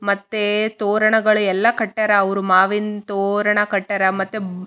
ಹೂವಿನ ಎಲೆಗಳನ್ನು ಹಾಕಿದ್ದಾರೆ ಯಾರೊ ಒಂದು ಕೆಳ ನಿಂತಕೊಂಡು ಫೊಟೊ ತೆಗೆಸ್ತಾ ಇದ್ದಾ --